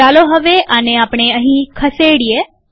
ચાલો હવે આને આપણે અહીં ખસેડીએ